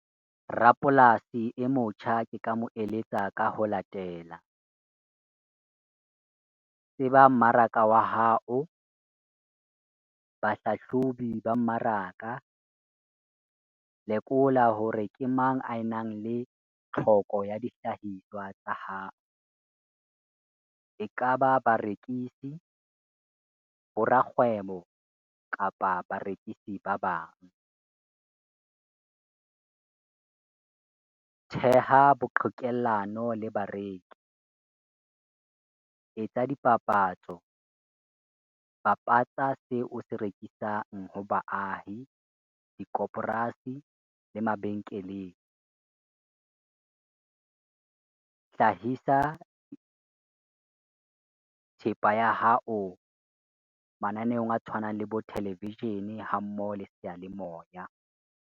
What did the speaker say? Rapolasi e motjha ke ka mo eletsa ka ho latela. Tseba mmaraka wa hao, bahlahlobi ba mmaraka, lekola hore ke mang ae nang le tlhoko ya dihlahiswa tsa hao. Ekaba barekisi, bo rakgwebo kapa barekisi ba bang. Theha bo qhekellano le bareki, etsa dipapatso, bapatsa seo o se rekisang ho baahi, di le mabenkeleng. Hlahisa thepa ya hao mananeong a tshwanang le bo televishene ha mmoho le seyalemoya.